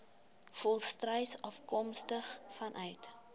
volstruise afkomstig vanuit